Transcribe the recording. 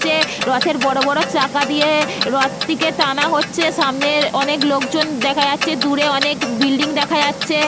যাচ্ছে। রথের বড়বড় চাকা দিয়ে রথটিকে টানা হচ্ছে। সামনে অনেক লোকজন দেখা যাচ্ছে। দূরে অনেকে বিল্ডিং দেখা যাচ্ছে।